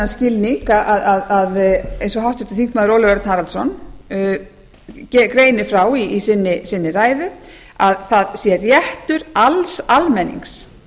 skilning eins og háttvirtur þingmaður ólafur örn haraldsson greinir frá í sinni ræðu að það sé réttur alls almennings